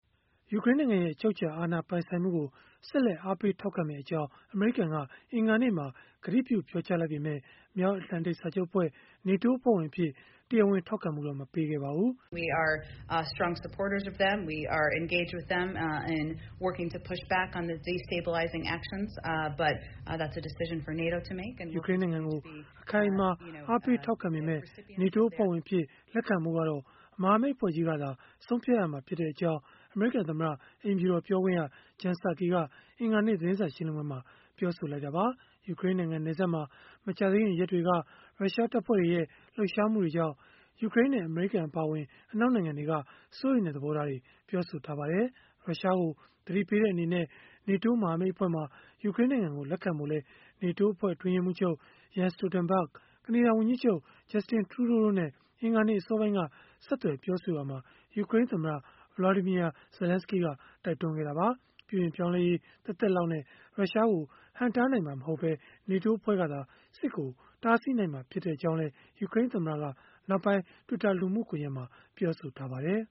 ယူကရိန်းနိုင်ငံရဲ့ အချုပ်အခြာ အာဏာပိုင်ဆိုင်မှုကို ဆက်လက် အားပေးထောက်ခံမယ့်အကြောင်း အမေရိကန်က အင်္ဂါနေ့မှာ ကတိပြုပြောကြားလိုက်ပေမဲ့ မြောက်အတ္တလန်တိတ် စာချုပ်အဖွဲ့ (NATO) အဖွဲ့ဝင်အဖြစ် တရားဝင် ထောက်ခံမှုတော့ မပေးခဲ့ပါဘူး။ ယူကရိန်းနိုင်ငံကို အခိုင်အမာ အားပေးထောက်ခံပေမဲ့ NATO အဖွဲ့ဝင်အဖြစ် လက်ခံဖို့ကတော့ မဟာမိတ်အဖွဲ့ကြီးကသာ ဆုံးဖြတ်ရမှာဖြစ်ကြောင်း အမေရိကန်သမ္မတ အိမ်ဖြူတော် ပြောခွင့်ရ Jen Psaki က အင်္ဂါနေ့ သတင်းစာ ရှင်းလင်းပွဲမှာ ပြောလိုက်တာပါ။ ယူကရိန်းနိုင်ငံ နယ်စပ်မှာ မကြာသေးခင်ရက်တွေက ရုရှားတပ်ဖွဲ့တွေရဲ့ လှုပ်ရှားမှုတွေကြောင့် ယူကရိန်းနဲ့ အမေရိကန် အပါအဝင် အနောက်နိုင်ငံတွေက စိုးရိမ်တဲ့ သဘောထားတွေ ပြောဆိုထားကြပါတယ်။ ရုရှားကို သတိပေးတဲ့ အနေနဲ့ NATO မဟာမိတ်အဖွဲ့မှာ ယူကရိန်းနိုင်ငံကို လက်ခံဖို့လည်း NATO အဖွဲ့ အတွင်းရေးမှူးချုပ် Jens Stoltenberg ၊ ကနေဒါဝန်ကြီးချုပ် Justin Trudeau တို့နဲ့ အင်္ဂါနေ့ အစောပိုင်းက ဆက်သွယ်ပြောဆိုရာမှာ ယူကရိန်းသမ္မတ Volodymyr Zelenskiy ကတိုက်တွန်းခဲ့တာပါ။ ပြုပြင်ပြောင်းလဲရေး သက်သက်လောက်နဲ့ ရုရှားကို ဟန့်တားနိုင်မှာ မဟုတ်ဘဲ NATO ကသာ စစ်ကိုတားနိုင်မှာ ဖြစ်ကြောင်းလည်း ယူကရိန်းသမ္မတက နောက်ပိုင်း Twitter လူမှုကွန်ရက်မှာ ပြောဆိုခဲ့ပါတယ်